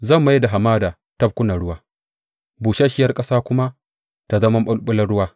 Zan mai da hamada tafkunan ruwa, busasshiyar ƙasa kuma ta zama maɓulɓulan ruwa.